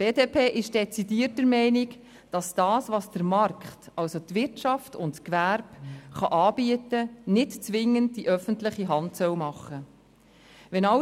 Die BDP ist dezidiert der Meinung, dass das, was der Markt, also die Wirtschaft und das Gewerbe, anbieten können, nicht zwingend von der öffentlichen Hand gemacht werden soll.